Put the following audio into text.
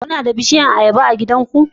Kuna da bishiyar ayaba a gidanku?